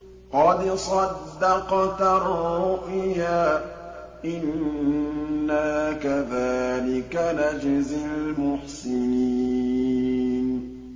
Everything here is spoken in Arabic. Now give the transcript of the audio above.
قَدْ صَدَّقْتَ الرُّؤْيَا ۚ إِنَّا كَذَٰلِكَ نَجْزِي الْمُحْسِنِينَ